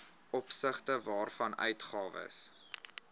opsigte waarvan uitgawes